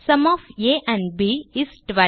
sum of a and b is 12